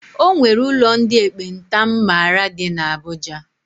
O nwere ụlọ ndị ekpenta m maara dị n' Abuja.